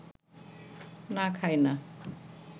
না, খাই না